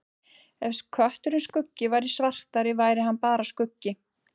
Ef kötturinn Skuggi væri svartari væri hann bara skuggi.